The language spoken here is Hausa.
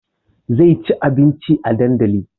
Zai ci abinci a dandali